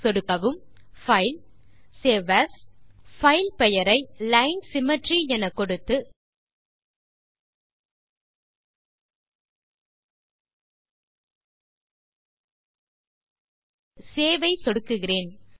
சொடுக்கவும்Filegtgt save as file பெயரை line symmetry எனக்கொடுத்து save ஐ சொடுக்குகிறேன்